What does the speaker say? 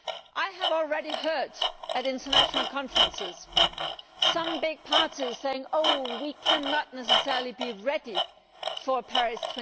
I have already heard, at international conferences, some big parties saying we cannot necessarily be ready for Paris